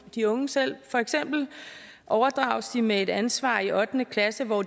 de unge selv for eksempel overdrages de med et ansvar i ottende klasse hvor